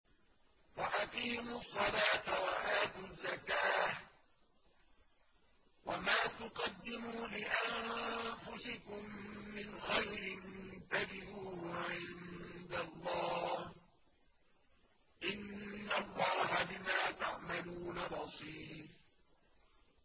وَأَقِيمُوا الصَّلَاةَ وَآتُوا الزَّكَاةَ ۚ وَمَا تُقَدِّمُوا لِأَنفُسِكُم مِّنْ خَيْرٍ تَجِدُوهُ عِندَ اللَّهِ ۗ إِنَّ اللَّهَ بِمَا تَعْمَلُونَ بَصِيرٌ